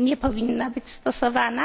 nie powinna być stosowana?